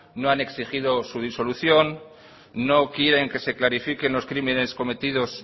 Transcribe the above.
no han exigido su disolución no quieren que se clarifiquen los crímenes cometidos